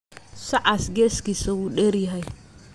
Sacas geeskisa uu deryahy.